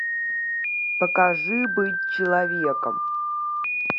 покажи быть человеком